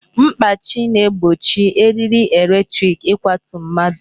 Mkpachi na-egbochi eriri electric ịkwatu mmadụ.